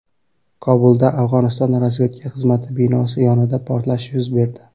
Kobulda Afg‘oniston razvedka xizmati binosi yonida portlash yuz berdi.